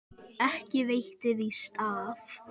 Ekki veitti víst af.